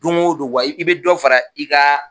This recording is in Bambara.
Don go don wa i bɛ dɔ fara i ka